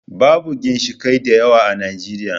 Babu ginshiƙai da yawa a Najeriya.